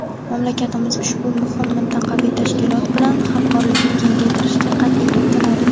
Mamlakatimiz ushbu muhim mintaqaviy tashkilot bilan hamkorlikni kengaytirishga qat’iy intiladi.